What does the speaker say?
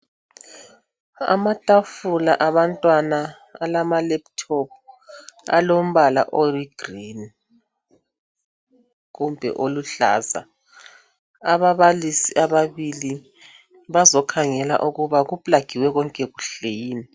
Amatafula abantwana alama lephuthophu alombala oyigreen kumbe oluhlaza ababalisi ababili bazokhangela ukuba kuplagiwe konke kuhle yini.